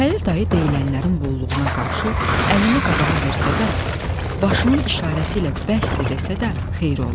Xəlil dayı deyilənlərin bolluğuna qarşı əlini qabağa versə də, başının işarəsi ilə bəsdir desə də xeyri olmur.